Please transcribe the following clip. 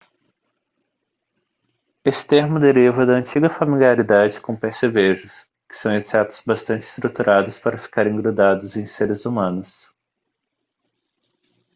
esse termo deriva da antiga familiaridade com percevejos que são insetos bastante estruturados para ficarem grudados em seres humanos